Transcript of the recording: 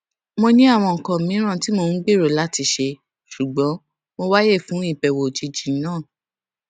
mo ní àwọn nǹkan mìíràn tí mò ń gbèrò láti ṣe ṣùgbọn mo wáyè fún ìbèwò òjijì náà